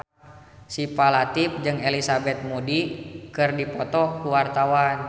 Syifa Latief jeung Elizabeth Moody keur dipoto ku wartawan